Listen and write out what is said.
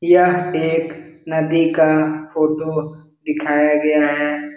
यह एक नदी का फोटो दिखाया गया है।